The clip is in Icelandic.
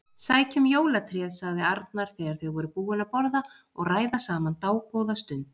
Sækjum jólatréð sagði Arnar þegar þau voru búin að borða og ræða saman dágóða stund.